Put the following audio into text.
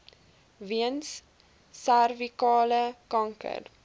weens servikale kanker